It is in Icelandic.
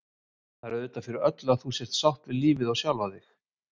Það er auðvitað fyrir öllu að þú sért sátt við lífið og sjálfa þig.